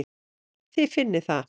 Þið finnið það?